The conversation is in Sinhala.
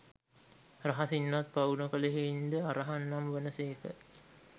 රහසින්වත් පව් නොකළ හෙයින් ද අරහං නම් වන සේක.